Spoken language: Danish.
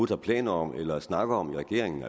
har planer om eller snakker om i regeringen